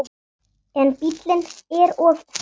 En bíllinn er of frægur.